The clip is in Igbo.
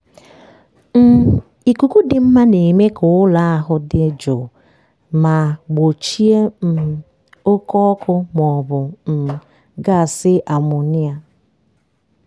um ikuku dị mma na-eme ka ụlọ ahụ dị jụụ ma gbochie um oke ọkụ maọbụ um gasị amonia.